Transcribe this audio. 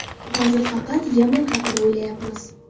Hozir faqat Yaman haqida o‘ylayapmiz.